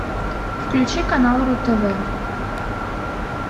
включи канал ру тв